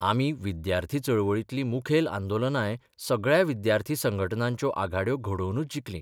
आमी विद्यार्थी चळवळींतलीं मुखेल आंदोलनांय सगळ्या विद्यार्थी संघटनांच्यो आघाड्यो घडोवनच जिखलीं.